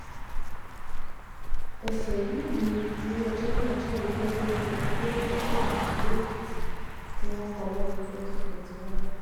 ẹsẹ yìí um ni ilé-ẹjọ́ náà júwe gẹ́gẹ́ bíi òun tó lòdì sófin ìpínlẹ̀ èkìtì tí um wọ́n kọ́ lọ́dún twenty twenty one